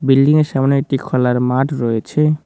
বিল্ডিংয়ের সামোনে একটি খোলার মাঠ রয়েছে।